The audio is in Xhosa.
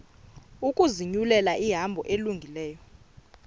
ukuzinyulela ihambo elungileyo